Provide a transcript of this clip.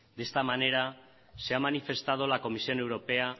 de esta manera se ha manifestado la comisión europea